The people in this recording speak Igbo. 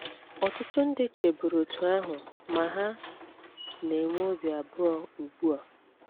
Ọtụtụ ndị cheburu otú ahụ ma ha na - enwe obi abụọ ugbu a.